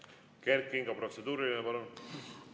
Kert Kingo, protseduuriline küsimus, palun!